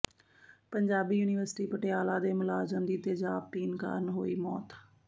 Punjabi university Patiala ਦੇ ਮੁਲਾਜ਼ਮ ਦੀ ਤੇਜ਼ਾਬ ਪੀਣ ਕਾਰਨ ਹੋਈ ਮੌਤ